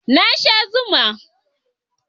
Na sha zuman